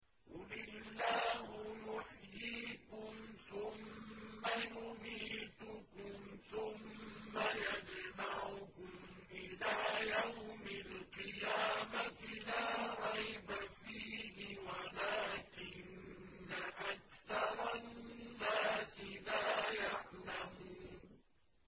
قُلِ اللَّهُ يُحْيِيكُمْ ثُمَّ يُمِيتُكُمْ ثُمَّ يَجْمَعُكُمْ إِلَىٰ يَوْمِ الْقِيَامَةِ لَا رَيْبَ فِيهِ وَلَٰكِنَّ أَكْثَرَ النَّاسِ لَا يَعْلَمُونَ